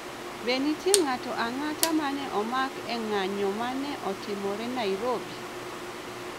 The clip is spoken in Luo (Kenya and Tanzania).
Be nitie ng'ato ang'ata ma ne omak e ng'anjo ma ne otimore Nairobi